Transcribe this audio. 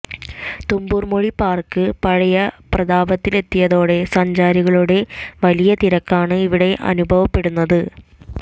Thumboormuzhi park പഴയ പ്രതാഭത്തിലെത്തിയതോടെ സഞ്ചാരികളുടെ വലിയ തിരക്കാണ് ഇവിടെ അനുഭവപ്പെടുന്നത്